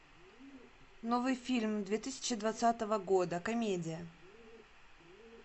новый фильм две тысячи двадцатого года комедия